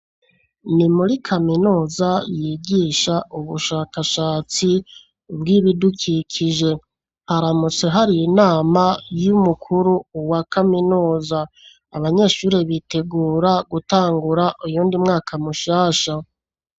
Ni muri kaminuza yigisha ubushakashatsi bw'ibidukikije. Haramutse hari inama y'umukuru wa kaminuza. Abanyeshure bitegura gutangura uyundi mwaka mushasha.